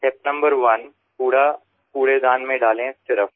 step number one कूड़ा कूड़ेदान में डालें सिर्फ